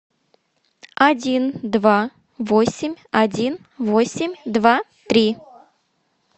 один два восемь один восемь два три